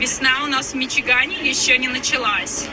весна у нас в мичигане ещё не началась